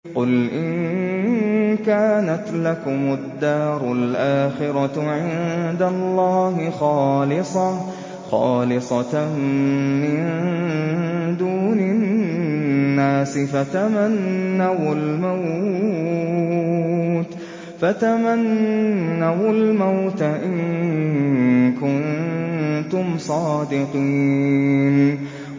قُلْ إِن كَانَتْ لَكُمُ الدَّارُ الْآخِرَةُ عِندَ اللَّهِ خَالِصَةً مِّن دُونِ النَّاسِ فَتَمَنَّوُا الْمَوْتَ إِن كُنتُمْ صَادِقِينَ